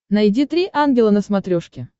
найди три ангела на смотрешке